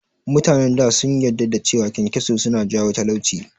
Mutanen da sun yadda da cewa kyankyaso suna jawo talauci